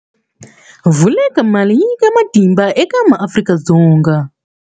Vulekamali yi nyika matimba eka maAfrika-Dzonga.